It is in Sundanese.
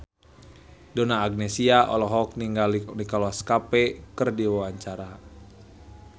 Donna Agnesia olohok ningali Nicholas Cafe keur diwawancara